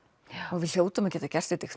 og við hljótum að geta gert þetta